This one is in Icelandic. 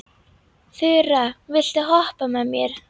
Þura, viltu hoppa með mér?